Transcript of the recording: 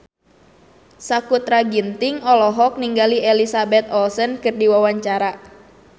Sakutra Ginting olohok ningali Elizabeth Olsen keur diwawancara